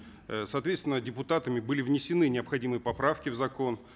э соответственно депутатами были внесены необходимые поправки в закон